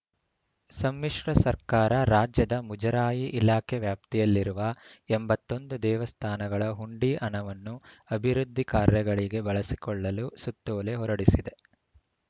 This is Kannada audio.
ಸಮ್ಮಿಶ್ರ ಸರ್ಕಾರ ರಾಜ್ಯದ ಮುಜರಾಯಿ ಇಲಾಖೆ ವ್ಯಾಪ್ತಿಯಲ್ಲಿರುವ ಎಂಬತ್ತ್ ಒಂದು ದೇವಸ್ಥಾನಗಳ ಹುಂಡಿ ಹಣವನ್ನು ಅಭಿವೃದ್ಧಿ ಕಾರ್ಯಗಳಿಗೆ ಬಳಸಿಕೊಳ್ಳಲು ಸುತ್ತೋಲೆ ಹೊರಡಿಸಿದೆ